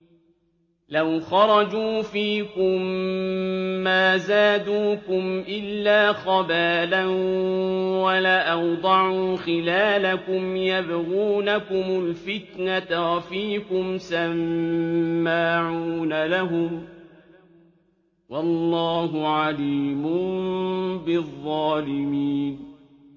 لَوْ خَرَجُوا فِيكُم مَّا زَادُوكُمْ إِلَّا خَبَالًا وَلَأَوْضَعُوا خِلَالَكُمْ يَبْغُونَكُمُ الْفِتْنَةَ وَفِيكُمْ سَمَّاعُونَ لَهُمْ ۗ وَاللَّهُ عَلِيمٌ بِالظَّالِمِينَ